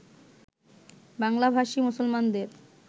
বাংলাভাষী মুসলমানদের